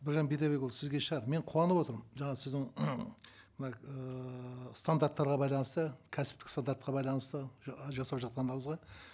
біржан бидайбекұлы сізге шығар мен қуанып отырмын жаңа сіздің мына ыыы стандарттарға байланысты кәсіптік стандартқа байланысты жасап жатқандарыңызға